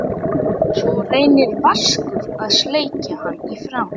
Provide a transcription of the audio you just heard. Svo reynir Vaskur að sleikja hann í framan.